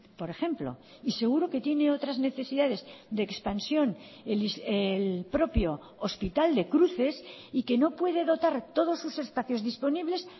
por ejemplo y seguro que tiene otras necesidades de expansión el propio hospital de cruces y que no puede dotar todos sus espacios disponibles